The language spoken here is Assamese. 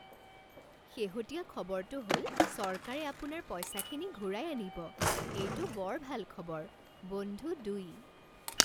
শেহতীয়া খবৰটো হ'ল চৰকাৰে আপোনাৰ পইচাখিনি ঘূৰাই আনিব। এইটো বৰ ভাল খবৰ। বন্ধু দুই